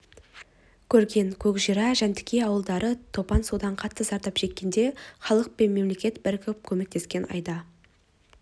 көрген көкжыра жәнтікей ауылдары топан судан қатты зардап шеккенде халық пен мемлекет бірігіп көмектескен айда